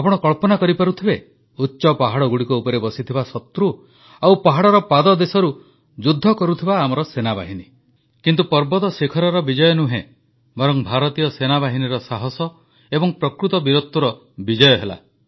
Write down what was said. ଆପଣ କଳ୍ପନା କରିପାରୁଥିବେ ଉଚ୍ଚ ପାହାଡ଼ଗୁଡ଼ିକ ଉପରେ ବସିଥିବା ଶତ୍ରୁ ଆଉ ପାହାଡ଼ର ପାଦଦେଶରୁ ଯୁଦ୍ଧ କରୁଥିବା ଆମ ସେନାବାହିନୀ କିନ୍ତୁ ପର୍ବତ ଶିଖରର ବିଜୟ ନୁହେଁ ବରଂ ଭାରତୀୟ ସେନାବାହିନୀର ସାହସ ଏବଂ ପ୍ରକୃତ ବୀରତ୍ୱର ବିଜୟ ହେଲା